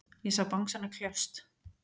Ég sá bangsana kljást.